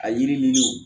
A yiri ninnu